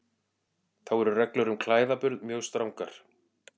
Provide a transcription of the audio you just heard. Þá eru reglur um klæðaburð mjög strangar.